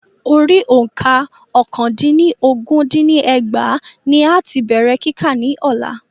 Orí òǹkà ọ́kàndínlọ́gún dín ní ẹgbàá ní a ti bèrè kíkà ní Ọ̀la.